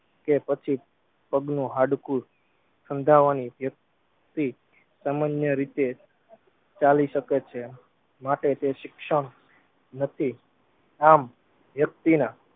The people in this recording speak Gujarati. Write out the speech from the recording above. કે પછી પગનું હાડકું સંધાવાની તમને રીતે ચાલિસકે છે. માટે તે શિક્ષણ નથી આમ વ્યક્તિના